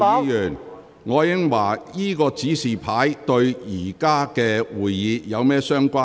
楊岳橋議員，這個紙牌與目前的會議有甚麼關係？